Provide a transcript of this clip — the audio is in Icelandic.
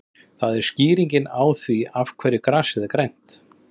Það er skýringin á því af hverju grasið er grænt.